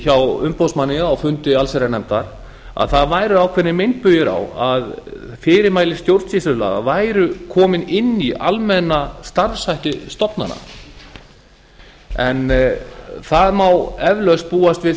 hjá umboðsmanni á fundi allsherjarnefndar að það væru ákveðnir meinbugir á að fyrirmæli stjórnsýslulaga væru komin inn í almenna starfshætti stofnana en það mál eflaust búast við